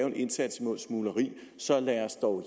en indsats imod smugleri så lad os dog